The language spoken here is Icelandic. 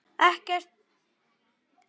Ekkert bréf berst fyrir helgi.